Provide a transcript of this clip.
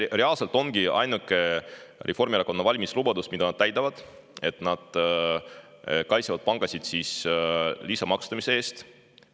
Reaalselt ongi see ainuke Reformierakonna valimislubadus, mida nad täidavad: nad kaitsevad pankasid lisamaksustamise eest.